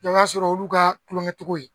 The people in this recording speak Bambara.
Jaa o y'a sɔrɔ o y'ulu ka tulonkɛcogo ye.